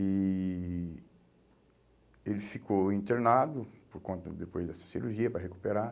E ele ficou internado, por conta, depois dessa cirurgia, para recuperar.